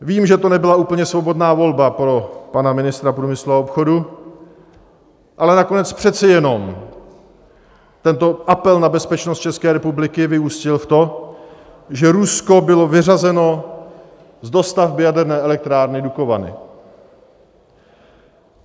Vím, že to nebyla úplně svobodná volba pro pana ministra průmyslu a obchodu, ale nakonec přece jenom tento apel na bezpečnost České republiky vyústil v to, že Rusko bylo vyřazeno z dostavby Jaderné elektrárny Dukovany.